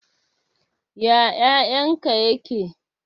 Ya ƴaƴan ka ƴaƙe?